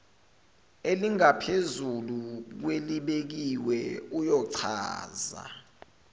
elingaphezulu kwelibekiwe uyochaza